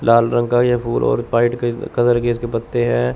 लाल रंग ये फूल और व्हाइट कलर के इसके पत्ते है।